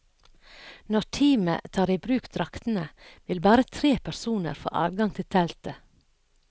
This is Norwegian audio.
Når teamet tar i bruk draktene, vil bare tre personer få adgang til teltet.